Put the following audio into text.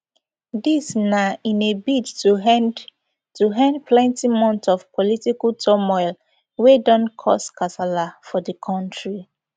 dis na in a bid to end to end plenti months of political turmoil wey don cause kasala for di kontri